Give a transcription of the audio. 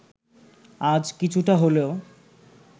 আজ কিছুটা হলেও